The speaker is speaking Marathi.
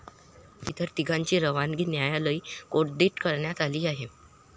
तर इतर तिघांची रवानगी न्यायालयीन कोठडीत करण्यात आली आहे.